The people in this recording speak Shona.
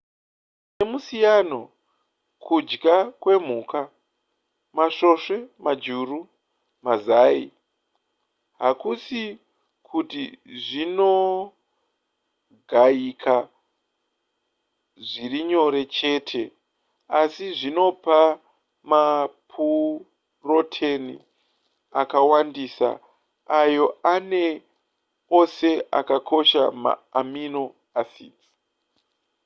nemusiyano kudya kwemhuka masvosve majuru mazai hakusi kuti zvinogayika zvirinyore chete asi zvinopa mapuroteni akawandisa ayo ane ose akakosha ma amino acids